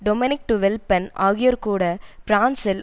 Dominic de Villepin ஆகியோர்கூட பிரான்சில்